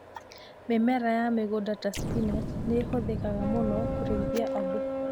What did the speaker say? Mĩmera ya mũgũnda ta spinach nĩ ĩhũthĩkaga mũno kũrĩithia andũ.